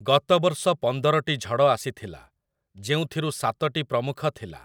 ଗତ ବର୍ଷ ପନ୍ଦରଟି ଝଡ଼ ଆସିଥିଲା, ଯେଉଁଥିରୁ ସାତଟି ପ୍ରମୁଖ ଥିଲା ।